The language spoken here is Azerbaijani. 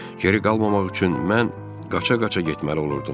Geri qalmamaq üçün mən qaça-qaça getməli olurdum.